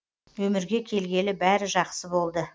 өмірге келгелі бәрі жақсы болды